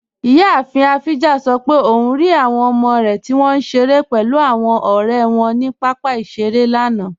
Iyàáfin Ajífa sọ̀ pé ọun rí awọn ọmọ rẹ tí wọn nṣẹ̀rẹ̀ pẹ̀lú awọn ọ̀rẹ̀ wọn ni papa iṣẹ̀rẹ̀ lánà.